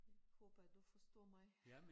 Håber du forstår mig